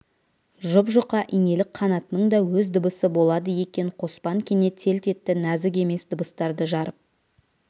жұп-жұқа инелік қанатының да өз дыбысы болады екен қоспан кенет селт етті нәзік еміс дыбыстарды жарып